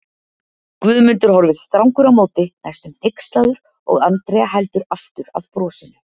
Guðmundur horfir strangur á móti, næstum hneykslaður og Andrea heldur aftur af brosinu.